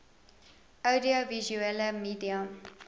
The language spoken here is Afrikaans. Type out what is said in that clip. oudio visuele media